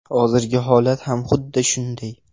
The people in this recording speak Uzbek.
Hozirgi holat ham xuddi shunday.